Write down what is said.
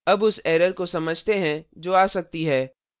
अब उस error को समझते हैं जो आ सकती है